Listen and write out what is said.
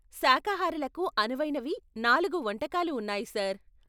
శాఖాహారులకు అనువైనవి నాలుగు వంటకాలు ఉన్నాయి, సార్.